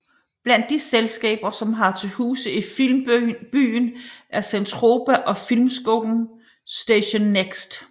Blandt de selskaber som har til huse i Filmbyen er Zentropa og filmskolen Station Next